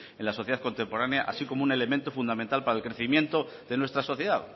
en la sociedad contemporánea así como un elemento fundamental para el crecimiento de nuestra sociedad